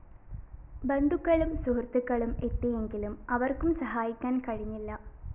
ബന്ധുക്കളും സുഹൃത്തുക്കളും എത്തിയെങ്കിലും അവര്‍ക്കും സഹായിക്കാന്‍ കഴിഞ്ഞില്ല